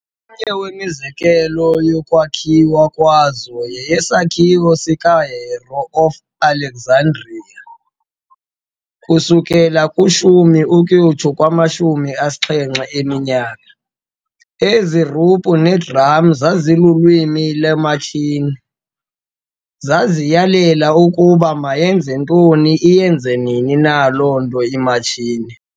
Omnye wemizekelo yokuqala yokwakhiwa kwazo yeyesakhiwo sikaHero of Alexandria, c. 10-70 AD. Ezi-ruphu nee-drums zazilulwimi lwematshini- zaziyalela ukuba mayenze ntoni, iyenze nini na loo nto imatshini.